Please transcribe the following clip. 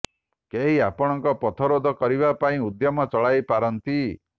କେହି ଆପଣଙ୍କ ପଥରୋଧ କରିବା ପାଇଁ ଉଦ୍ୟମ ଚଳାଇ ପାରନ୍ତି